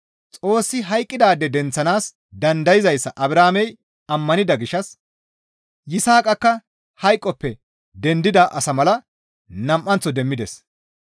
Xoossi hayqqidaade denththanaas dandayzayssa Abrahaamey ammanida gishshas Yisaaqakka hayqoppe dendida asa mala nam7anththo demmides.